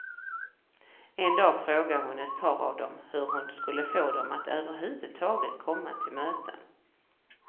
En dag frågade hon ett par av dem hur hon skulle få dem att överhuvudtaget komma till möten.